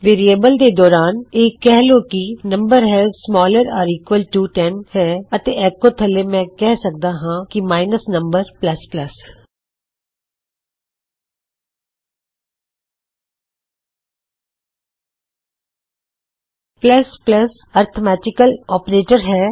variable ਦੇ ਦੌਰਾਨ ਕਿਹ ਲੋ ਕੀ ਨਮ ਹੈ ਸਮਾਲਰ ਯਾ ਈਕਵਲਟੂ 10 ਹੈ ਅਤੇ ਐੱਕੋ ਥੱਲੇ ਮੈਂ ਕਿਹ ਸਕਦਾ ਹਾਂ ਕੀ -num ਇੱਕ ਅਰਥਮੈਟਿਕਲ ਆਪਰੇਟਰ ਹੈ